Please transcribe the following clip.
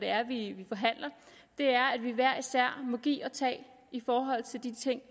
er at vi vi hver især må give og tage i forhold til de ting